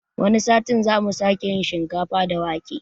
Wani satin zamu sake yin shinkafa da wake